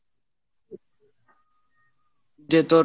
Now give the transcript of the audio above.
দিয়ে তোর,